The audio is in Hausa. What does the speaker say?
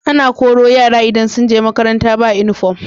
Ana Koro yara idan sunje makaranta ba inufom